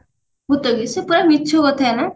ଭୁତ କି ସେ ପୁରା ମିଛକଥା ନା